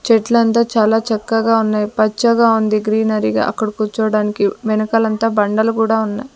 చెట్లంతా చాలా చక్కగా ఉన్నాయ్ పచ్చగా ఉంది గ్రీనరీగా అక్కడ కూర్చోవడానికి వెనకాల అంతా బండలు కూడా ఉన్నయ్.